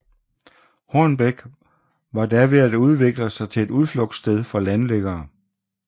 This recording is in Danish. Hornbæk var da ved at udvikle sig til et udflugtssted for landliggere